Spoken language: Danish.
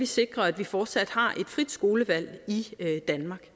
sikrer at vi fortsat har et frit skolevalg i danmark